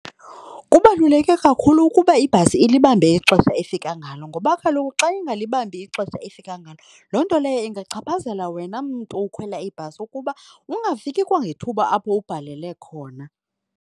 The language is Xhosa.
Kubaluleke kakhulu ukuba ibhasi ilibambe ixesha efika ngalo ngoba kaloku xa ingalibambi ixesha efika ngalo, loo nto leyo ingachaphazela wena mntu ukhwela ibhasi ukuba ungafiki kwangethuba apho ubhalele khona.